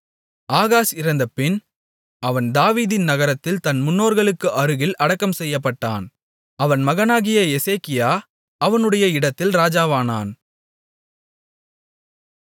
Ahaz இறந்தபின் அவன் தாவீதின் நகரத்தில் தன் முன்னோர்களுக்கு அருகில் அடக்கம் செய்யப்பட்டான் அவன் மகனாகிய எசேக்கியா அவனுடைய இடத்தில் ராஜாவானான்